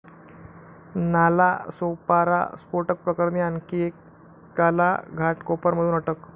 नालासोपारा स्फोटक प्रकरणी आणखी एकाला घाटकोपरमधून अटक